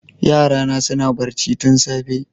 Yarana suna barci tun safe